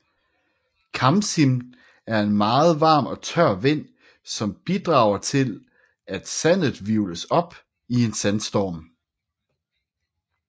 Khamsin er en meget varm og tør vind som bidrager til at sandet hvirvles op til en sandstorm